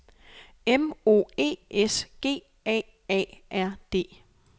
M O E S G A A R D